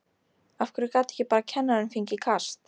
Af hverju gat ekki bara kennarinn fengið kast?